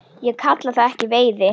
Ég kalla það ekki veiði.